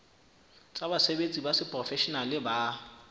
tsa basebetsi ba seprofeshenale ba